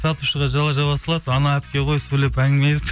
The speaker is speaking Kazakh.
сатушыға жала жаба салады анау әпке ғой сөйлеп әңгіме айтып